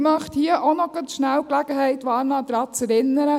Ich möchte hier gerade noch die Gelegenheit wahrnehmen, um daran zu erinnern: